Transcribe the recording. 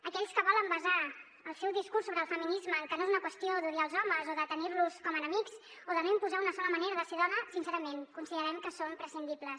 aquells que volen basar el seu discurs sobre el feminisme en que no és una qüestió d’odiar els homes o de tenir los com a enemics o de no imposar una sola manera de ser dona sincerament considerem que són prescindibles